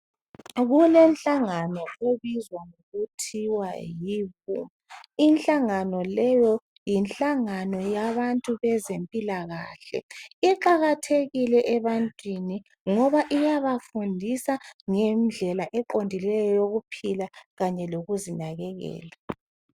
kulenhlangano ebizwa kuthiwa yi WHO inhlangano leyo yinhlangano yabantu bezempilakahle iqakathekile ebantwini ngoba iyabafundisa ngendlela eqondileyo yokuphila kanye lokuzinakekela